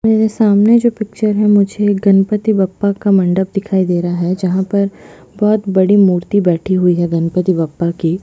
मेरे सामने जो पिक्चर है मुझे गणपती बप्पा का मंडप दिखाई दे रहा है जहाँ पर बहोत बड़ी मूर्ति बैठी हुई है गणपती बप्पा की--